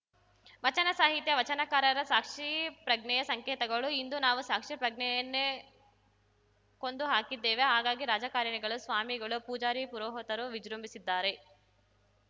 ವಚನ ಸಾಹಿತ್ಯ ವಚನಕಾರರ ಸಾಕ್ಷಿಪ್ರಜ್ಞೆಯ ಸಂಕೇತಗಳು ಇಂದು ನಾವು ಸಾಕ್ಷಿ ಪ್ರಜ್ಞೆಯನ್ನೇ ಕೊಂದು ಹಾಕಿದ್ದೇವೆ ಹಾಗಾಗಿ ರಾಜಕಾರಣಿಗಳು ಸ್ವಾಮಿಗಳು ಪೂಜಾರಿ ಪುರೋಹತರು ವಿಜೃಂಭಿಸಿದ್ದಾರೆ